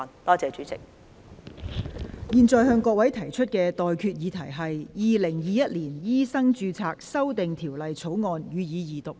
我現在向各位提出的待決議題是：《2021年醫生註冊條例草案》，予以二讀。